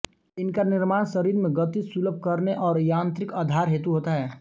इनका निर्माण शरीर में गति सुलभ करने और यांत्रिक आधार हेतु होता है